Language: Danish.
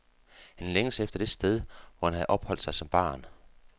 Han længes efter det sted hvor han havde opholdt sig som barn.